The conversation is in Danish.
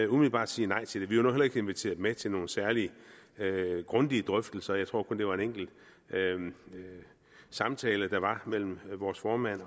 umiddelbart sige nej til det vi var nu heller ikke inviteret med til nogen særlig grundige drøftelser jeg tror kun at det var en enkelt samtale der var mellem vores formand